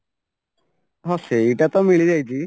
ହଁ ସେଇଟାତ ମିଳିଯାଇଛି